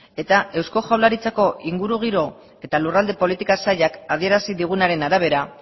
eta eusko jaurlaritzako ingurugiro eta lurralde politika sailak adierazi digunaren arabera